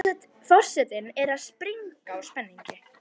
Forsetinn er að springa úr spenningi.